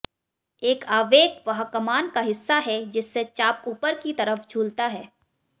एक आवेग वह कमान का हिस्सा है जिससे चाप ऊपर की तरफ झूलता है